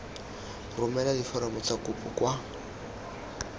romela diforomo tsa kopo kwa